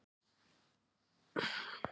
Ég er að æfa mig í því.